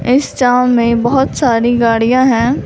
इस छांव में बहुत सारी गाड़ियां हैं।